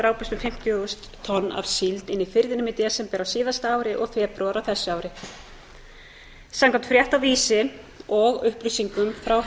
drápust um fimmtíu þúsund tonn af síld inni í firðinum í desember á síðasta ári og febrúar á þessu ári samkvæmt frétt á vísi og upplýsingum frá